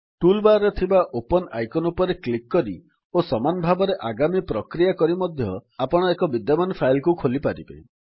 tool bar ରେ ଥିବା open icon ଉପରେ କ୍ଲିକ୍ କରି ଓ ସମାନ ଭାବରେ ଆଗାମୀ ପ୍ରକ୍ରିୟା କରି ମଧ୍ୟ ଆପଣ ଏକ ବିଦ୍ୟମାନ ଫାଇଲ୍ କୁ ଖୋଲିପାରିବେ